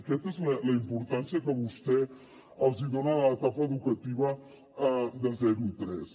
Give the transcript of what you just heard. aquesta és la importància que vostè dona a l’etapa educativa de zero a tres